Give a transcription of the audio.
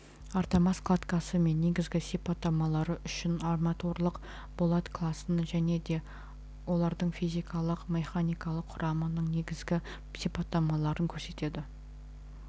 армотас кладкасы мен негізгі сипаттамалары үшін арматурлық болат класын және де олардың физикалық механикалық құрамының негігі сипаттамаларын көрсетеді